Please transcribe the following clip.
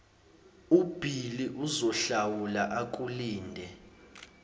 ubhili uzohlawula akulinde